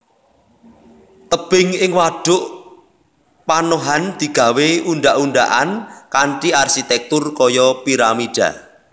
Tebing ing wadhuk panohan digawé undhak undhakan kanthi arsitèktur kaya piramida